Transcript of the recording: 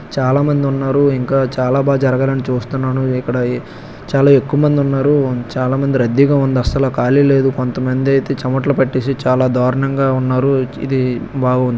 చాలా మంది ఉన్నారు. ఇంకా చాలా బా జరగాలని చూస్తున్నాను. ఇక్కడ చాలా ఎక్కువ మంది ఉన్నారు. చాలా మంది రద్దీగా ఉన్న అస్సలు ఖాళీ లేదు. కొంతమందైతే చమటలు పట్టేసి చాలా దారుణంగా ఉన్నారు. ఇది బాగుంది.